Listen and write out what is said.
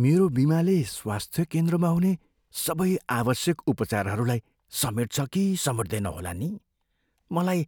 मेरो बिमाले स्वास्थ्य केन्द्रमा हुने सबै आवश्यक उपचारहरूलाई समेट्छ कि समेट्दैन होला नि? मलाई